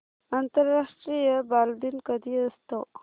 आंतरराष्ट्रीय बालदिन कधी असतो